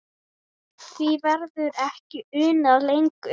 Því verður ekki unað lengur.